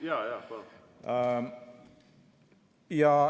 Jaa-jaa, palun!